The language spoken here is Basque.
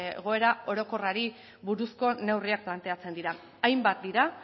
egoera orokorrari buruzko neurriak planteatzen dira hainbat dira